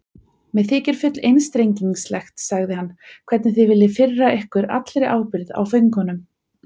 Mér þykir full einstrengingslegt, sagði hann,-hvernig þið viljið firra ykkur allri ábyrgð á föngunum.